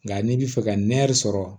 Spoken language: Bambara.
Nka n'i bi fɛ ka nɛri sɔrɔ